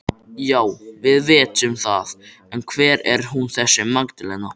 Já, við vitum það en hver er hún þessi Magdalena?